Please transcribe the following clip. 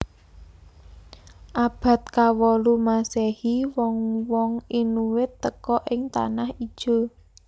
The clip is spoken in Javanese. Abad kawolu Masehi – Wong wong Inuit teka ing Tanah Ijo